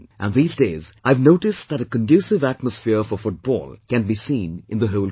And these days I have noticed that a conducive atmosphere for Football can be seen in the whole country